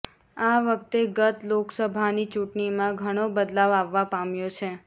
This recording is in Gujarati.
આ વખતે ગત લોકસભાની ચૂંટણીમાં ઘણો બદલાવ આવવા પામ્યો છે